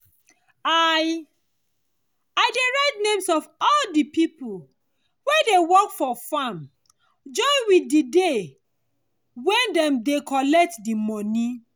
i i dey write name of all di people wey dey work for farm join with di day wey dem dey collect di moni.